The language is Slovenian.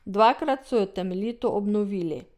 Dvakrat so jo temeljito obnovili.